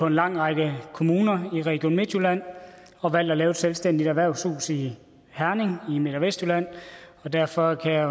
en lang række kommuner i region midtjylland og valgt at lave et selvstændigt erhvervshus i herning i midt og vestjylland og derfor kan jeg